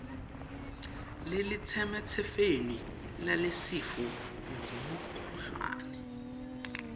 lelisemtsetfweni lalesifo ngumkhuhlane